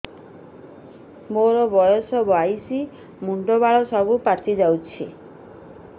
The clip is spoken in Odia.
ମୋର ବୟସ ବାଇଶି ମୁଣ୍ଡ ବାଳ ସବୁ ପାଛି ଯାଉଛି